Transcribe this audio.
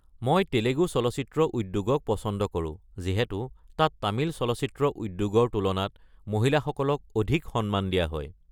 মই তেলেগু চলচ্চিত্ৰ উদ্যোগক পচন্দ কৰো যিহেতু তাত তামিল চলচ্চিত্ৰ উদ্যোগৰ তুলনাত মহিলাসকলক অধিক সন্মান দিয়া হয়।